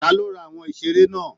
Ta ló rà àwọn iṣere náà?